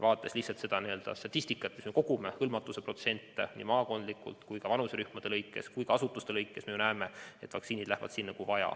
Vaadates kas või statistikat, mida me kogume, vaktsineeritute protsenti nii maakondlikult kui ka vanuserühmade lõikes, samuti asutuste lõikes, siis me näeme, et vaktsiinid lähevad sinna, kuhu vaja.